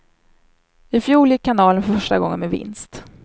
I fjol gick kanalen för första gången med vinst.